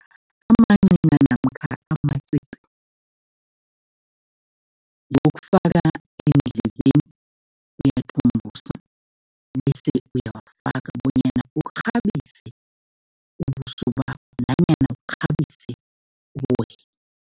Amancina namkha amacici ngewokufaka eendlebeni. Uyathumbusa bese uyawafaka bonyana ukghabise ubuso bakho nanyana ukghabise